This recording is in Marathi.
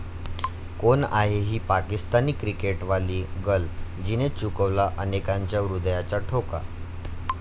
कोण आहे ही पाकिस्तानी 'क्रिकेटवाली गर्ल'?, जिने चुकवला अनेकांच्या हृदयाचा ठोका